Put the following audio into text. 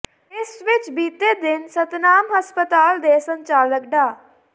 ਇਸ ਵਿਚ ਬੀਤੇ ਦਿਨ ਸਤਨਾਮ ਹਸਪਤਾਲ ਦੇ ਸੰਚਾਲਕ ਡਾ